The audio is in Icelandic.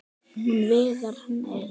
Hún og Viðar- nei!